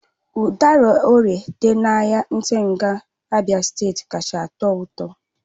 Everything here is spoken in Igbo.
Udara orie dị na ahịa ntigha, Abia steeti kacha atọ ụtọ